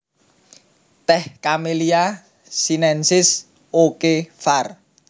Tèh Camellia sinensis O K var